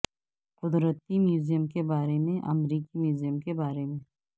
قدرتی میوزیم کے بارے میں امریکی میوزیم کے بارے میں